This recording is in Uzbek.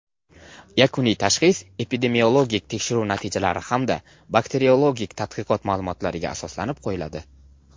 Yakuniy tashxis epidemiologik tekshiruv natijalari hamda bakteriologik tadqiqot ma’lumotlariga asoslanib qo‘yiladi.